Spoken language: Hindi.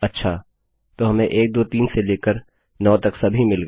अच्छा तो हमें 1 2 3 से लेकर 9 तक सभी मिल गए